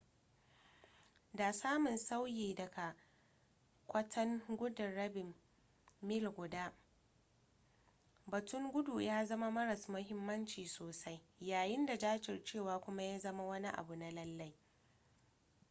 da samun sauyi daga kwatan gudun rabin mil guda batun gudu ya zama maras muhimmanci sosai yayin da jajircewa kuma ya zama wani abu na lallai